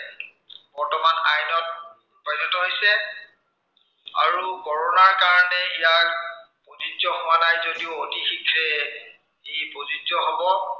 আৰু কৰোনাৰ কাৰনে ইয়াৰ প্ৰযোজ্য় হোৱা নাই যদিও, অতি শীঘ্ৰে ই প্ৰযোজ্য়া হ'ব।